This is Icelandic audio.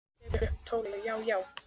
Hann tekur upp tólið: Já, já.